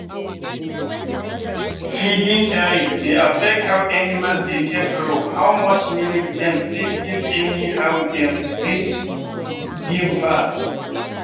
feeding time dey affect how animal dey take grow how much milk dem fit give and how dem fit give birth.